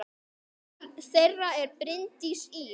Barn þeirra er Bryndís Ýr.